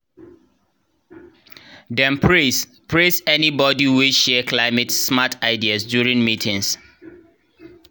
dem praise praise anybodi wey share climate-smart ideas during meetings